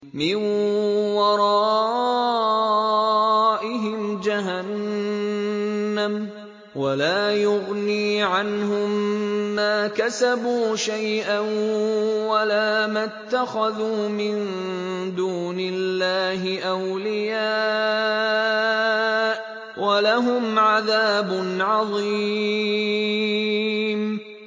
مِّن وَرَائِهِمْ جَهَنَّمُ ۖ وَلَا يُغْنِي عَنْهُم مَّا كَسَبُوا شَيْئًا وَلَا مَا اتَّخَذُوا مِن دُونِ اللَّهِ أَوْلِيَاءَ ۖ وَلَهُمْ عَذَابٌ عَظِيمٌ